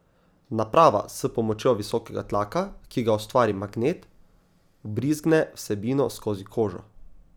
Naprava s pomočjo visokega tlaka, ki ga ustvari magnet, vbrizgne vsebino skozi kožo.